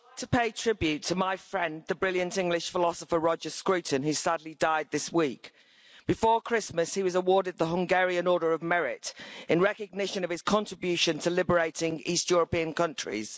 Mr President, I would like to pay tribute to my friend, the brilliant English philosopher Roger Scruton, who sadly died this week. Before Christmas, he was awarded the Hungarian Order of Merit in recognition of his contribution to liberating East European countries.